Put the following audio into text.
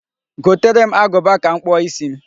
Gotere m agụba ka m kpụọ isi m.